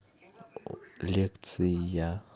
лекция